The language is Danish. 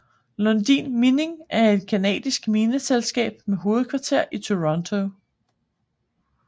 Lundin Mining er et canadisk mineselskab med hovedkvarter i Toronto